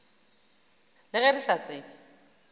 le ge re sa tsebe